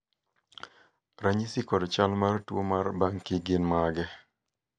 ranyisi kod chal mar tuo mar Banki gin mage?